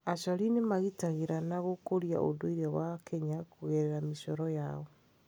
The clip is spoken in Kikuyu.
Acori nĩ magitagĩraga na gũkũria ũndũire wa Kenya kũgerera mĩcoro yao.